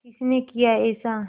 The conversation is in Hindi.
किसने किया ऐसा